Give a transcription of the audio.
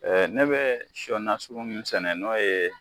ne bɛɛ sɔ nasugu min sɛnɛ n'o ye